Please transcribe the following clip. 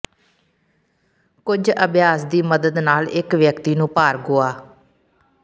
ਕੁਝ ਅਭਿਆਸ ਦੀ ਮਦਦ ਨਾਲ ਇਕ ਵਿਅਕਤੀ ਨੂੰ ਭਾਰ ਗੁਆ